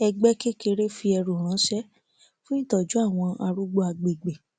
ẹgbẹ kékeré fi ẹrù ránṣẹ fún ìtọjú àwọn arúgbó agbègbè